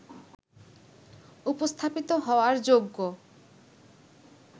উপস্থাপিত হওয়ার যোগ্য